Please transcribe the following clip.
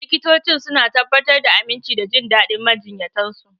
Likitocin suna tabbatar da aminci da jin daɗin majiyyatan su.